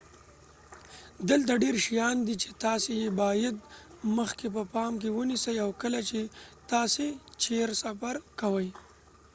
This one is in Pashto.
دلته ډیر شیان دي چې تاسي یې باید مخکې په پام کې ونیسئ او کله چې تاسي چیرې سفر کوئ